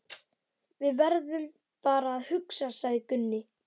Við verðum bara að hugsa, sagði Gunni.